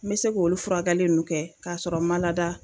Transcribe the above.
N me se k olu furakɛli nu kɛ k'a sɔrɔ n ma lada